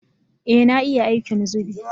Ee na iya aikin zubi